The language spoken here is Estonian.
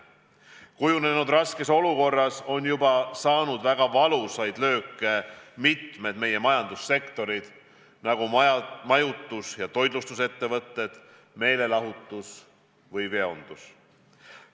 Kujunenud raskes olukorras on juba saanud väga valusaid lööke mitmed meie majandussektorid, näiteks majutus ja toitlustus, meelelahutus ja veondus.